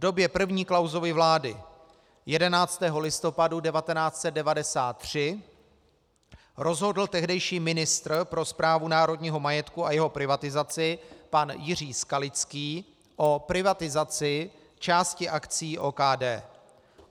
V době první Klausovy vlády 11. listopadu 1993 rozhodl tehdejší ministr pro správu národního majetku a jeho privatizaci pan Jiří Skalický o privatizaci části akcií OKD.